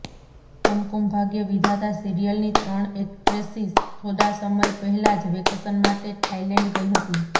કુમકુમ ભાગ્ય વિધાતા સિરિયલની ત્રણ એક્ટ્રેસિસ થોડા સમય પહેલાં જ વેકેશન માટે થાયલેન્ડ ગઇ હતી